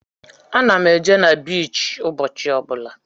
Ana m eje na biichi ụbọchị ọ bụla.